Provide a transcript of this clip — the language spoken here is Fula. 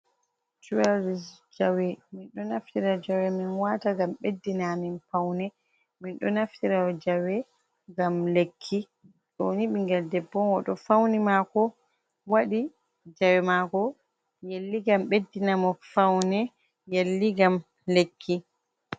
Jaweleris jawe, min ɗo naftira jawe min wata ngam ɓeddina amin paune, min ɗo naftira jawe ngam lekki, ɗo ni bingel debbo oɗo fauni mako waɗi jawe mako yelli ngam beddinamo faune yelli ngam lekki.